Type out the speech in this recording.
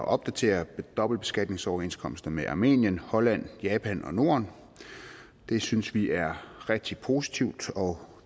opdateres dobbeltbeskatningsoverenskomsterne med armenien holland japan og norden det synes vi er rigtig positivt og